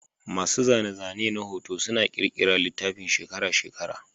Masu zane-zane na hoto suna ƙirƙira littafin shekara-shekara.